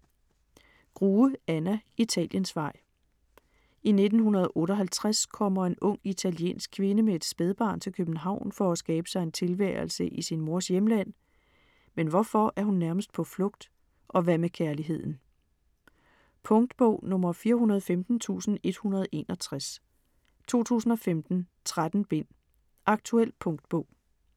Grue, Anna: Italiensvej I 1958 kommer en ung italiensk kvinde med et spædbarn til København for at skabe sig en tilværelse i sin mors hjemland. Men hvorfor er hun nærmest på flugt? Og hvad med kærligheden? Punktbog 415161 2015. 13 bind. Aktuel punktbog